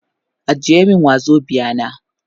Ajiye min wazobia na.